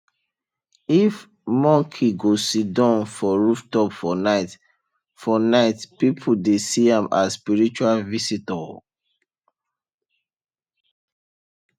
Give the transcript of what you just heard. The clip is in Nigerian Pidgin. if monkey go siddon for rooftop for night for night people dey see am as spiritual visitor